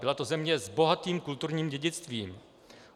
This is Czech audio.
Byla to země s bohatým kulturním dědictvím.